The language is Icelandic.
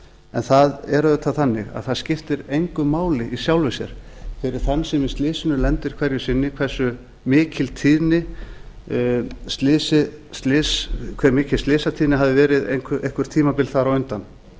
en það er auðvitað þannig að það skiptir engu máli í sjálfu sér fyrir þann sem í slysinu lendir hverju sinni hve mikil slysatíðni hafi verið eitthvert tímabil þar á undan